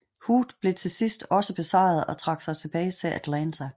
Hood blev til sidst også besejret og trak sig tilbage til Atlanta